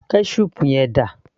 ketchup yẹn dà